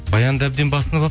баянды әбден басынып